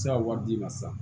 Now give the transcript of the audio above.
Se ka wari d'i ma sisan